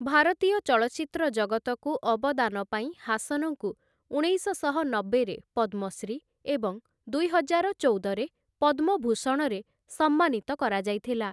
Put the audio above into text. ଭାରତୀୟ ଚଳଚ୍ଚିତ୍ର ଜଗତକୁ ଅବଦାନ ପାଇଁ ହାସନଙ୍କୁ ଉଣେଇଶଶହ ନବେରେ ପଦ୍ମଶ୍ରୀ ଏବଂ ଦୁଇହଜାର ଚଉଦରେ ପଦ୍ମଭୂଷଣରେ ସମ୍ମାନିତ କରାଯାଇଥିଲା ।